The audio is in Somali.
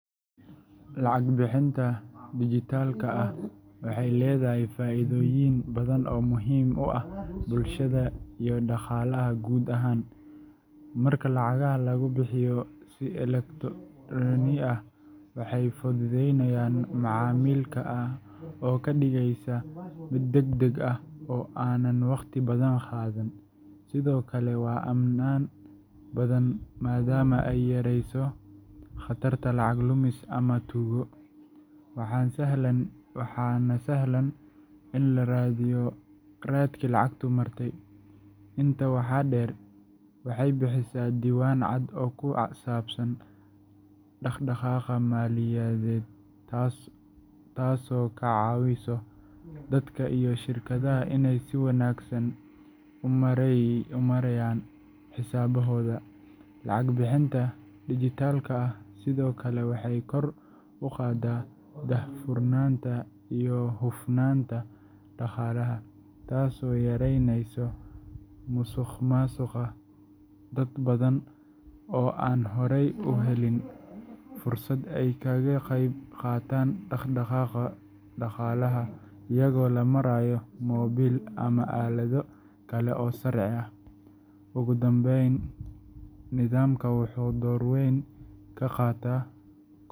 Lacag bixinta dijitaalka ah waxay leedahay faa’iidooyin badan oo muhiim u ah bulshada iyo dhaqaalaha guud ahaan. Marka lacagaha lagu bixiyo si elektaroonig ah, waxay fududaynaysaa macaamilka oo ka dhigaysa mid degdeg ah oo aan wakhti badan qaadan. Sidoo kale, waa ammaan badan maadaama ay yareyso khatarta lacag lumis ama tuugo, waxaana sahlan in la raadiyo raadkii lacagtu martay. Intaa waxaa dheer, waxay bixisaa diiwaan cad oo ku saabsan dhaqdhaqaaqa maaliyadeed taasoo ka caawisa dadka iyo shirkadaha inay si wanaagsan u maareeyaan xisaabahooda. Lacag bixinta dijitaalka ah sidoo kale waxay kor u qaadaa daahfurnaanta iyo hufnaanta dhaqaalaha, taasoo yaraynaysa musuqmaasuqa. Dad badan oo aan horey u heli jirin adeegyada bangiyada waxay heli karaan fursad ay kaga qayb qaataan dhaqdhaqaaqa dhaqaalaha iyadoo loo marayo moobil ama aalado kale oo casri ah. Ugu dambayn, nidaamkan wuxuu door weyn ka qaataa.